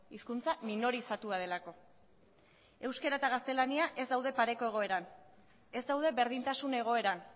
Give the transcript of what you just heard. hizkuntza minorizatua delako euskara eta gaztelania ez daude pareko egoeran ez daude berdintasun egoeran